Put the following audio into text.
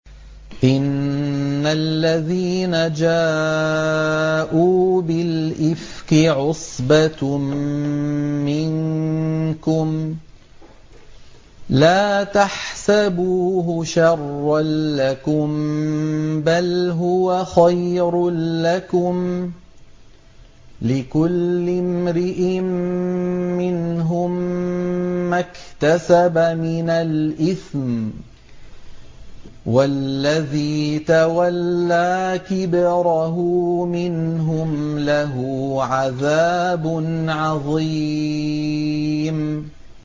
إِنَّ الَّذِينَ جَاءُوا بِالْإِفْكِ عُصْبَةٌ مِّنكُمْ ۚ لَا تَحْسَبُوهُ شَرًّا لَّكُم ۖ بَلْ هُوَ خَيْرٌ لَّكُمْ ۚ لِكُلِّ امْرِئٍ مِّنْهُم مَّا اكْتَسَبَ مِنَ الْإِثْمِ ۚ وَالَّذِي تَوَلَّىٰ كِبْرَهُ مِنْهُمْ لَهُ عَذَابٌ عَظِيمٌ